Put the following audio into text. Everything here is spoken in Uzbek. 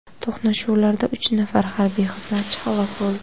To‘qnashuvlarda uch nafar harbiy xizmatchi halok bo‘ldi.